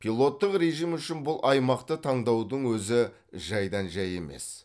пилоттық режим үшін бұл аймақты таңдаудың өзі жайдан жай емес